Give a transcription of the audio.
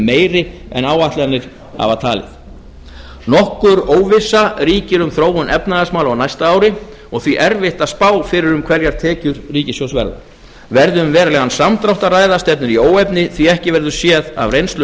meiri en áætlanir hafa talið nokkur óvissa ríkir um þróun efnahagsmála á næsta ári og því erfitt að spá fyrir um hverjar tekjur ríkissjóðs verða verði um verulegan samdrátt að ræða stefnir í óefni því ekki verður séð af reynslu